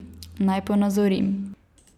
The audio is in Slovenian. Naj ponazorim.